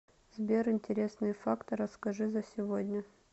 сбер интересные факты расскажи за сегодня